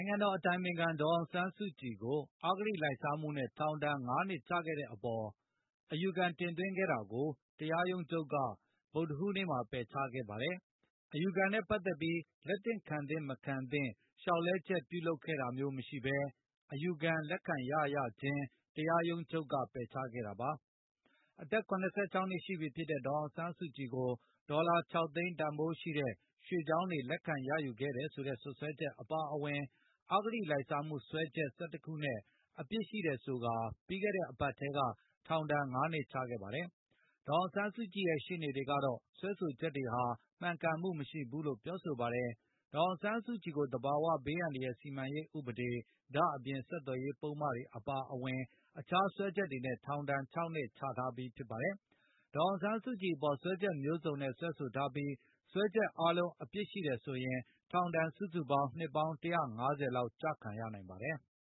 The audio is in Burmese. ုင်ငံတော်အတိုင်ပင်ခံ ဒေါ်အောင်ဆန်းစုကြည်ကို အဂတိလိုက်စားမှုနဲ့ ထောင်ဒါဏ် ၅ နှစ်ချခဲ့တဲ့အပေါ် အယူခံတင်သွင်းခဲ့တာကို တရားရုံးချုပ်က ဗုဒ္ဓဟူးနေ့မှာ ပယ်ချခဲ့ပါ တယ်။ အယူခံနဲ့ ပတ်သက်ပြီး လက်ခံသင့် လက်မခံသင့် လျောက်လဲချက် ပြုလုပ်ခဲ့တာမျိုးမရှိဘဲ၊ အယူခံလက်ခံရရခြင်း တရားရုံးချုပ်က ပယ်ချခဲ့တာပါ။ အသက် ၇၆ နှစ်ရှိပြီဖြစ်တဲ့ ဒေါ်အောင်ဆန်းစုကြည်ကို ဒေါ်လာ ၆ သိန်း တန်ဘိုးရှိတဲ့ ရွှေချောင်းတွေ လက်ခံရယူခဲ့တယ်ဆိုတဲ့စွဲချက် အပါအဝင် အဂတိလိုက်စားမှုစွဲချက် ၁၁ ခုနဲ့အပြစ်ရှိတယ်ဆိုကာ ပြီးခဲ့တဲ့ အပတ်ထဲက ထောင်ဒါဏ် ၅ နှစ်ချမှတ်ခဲ့တာပါ။ ဒေါ်အောင်ဆန်းစုကြည်ရဲ့ ရှေ့နေတွေကတော့ စွဲဆိုချက်တွေဟာ မှန်ကန်မှုမရှိဘူးလို့ပြောဆိုပါတယ်။ ဒေါ်အောင်ဆန်းစုကြည်ကို သဘာဝဘေး အန္တရယ် စီမံရေးဥပဒေ၊ ဒါ့အပြင် ဆက်သွယ်ရေးပုဒ်မတွေ အပါအဝင် အခြားစွဲချက်တွေနဲ့ ထောင်ဒါဏ် ၆ နှစ်ချထားပြီးဖြစ်ပါတယ်။ ဒေါ်အောင်ဆန်းစုကြည်အပေါ် စွဲချက်မျိုးစုံနဲ့ စွဲဆိုထားပြီး၊ စွဲချက်အားလုံး အပြစ်ရှိတယ်ဆိုရင် ထောင်ဒါဏ်စုစုပေါင်း နှစ်ပေါင်း ၁၅၀ လောက်ကျခံရနိုင်ပါတယ်။